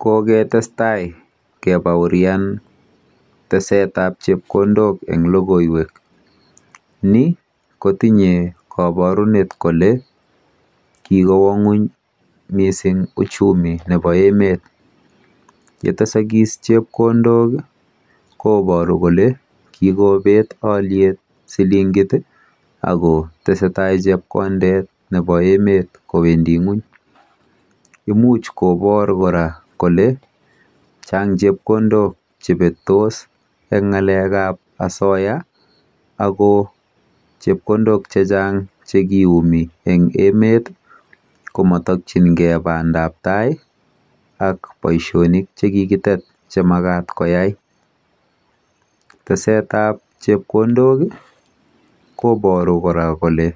Ko kotestai keboorinji teset ab chepkondok en logoiwek ni kotinye koborunet kole kikowo ngwony mising uchumi nebo emet ye tesoogis chepkondok koiboru kele kikobet alyet silingit ako nyolu ak kotestai chepkondet kowendi ngwony kobor kora kole Chang chepkondok chebetos en ngalekab osoya ago chepkondok chechang Che kiyumi en emet ko motokyingei bandap tai anan boisionik Che ki kitet Che Makat koyai tesetab chepkondok koiboru koraa kole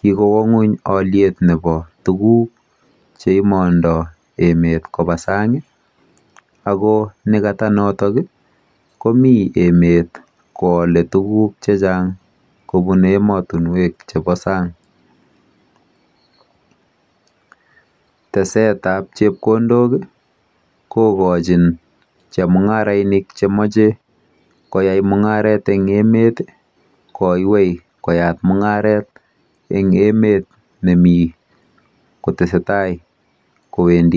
kikowo ngwony alyet nebo tuguk Che imondo emet koba emotinwek ab sang ako nekata noto komiten emet koalee tuguk kobun emotinwek chebo sang tesetab chepkondok kogochin chemungarainik chemoche koyai mungaret en emet koywei koyat mungaret en emet nemii kotestai kowendi ngwony